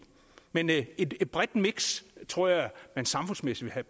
men et et bredt miks tror jeg man samfundsmæssigt vil